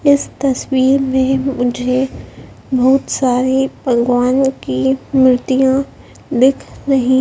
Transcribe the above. इस तस्वीर में मुझे बहुत सारी भगवान की मूर्तियां दिख रही--